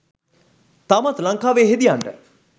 තාමත් ලංකාවේ හෙදියන්ට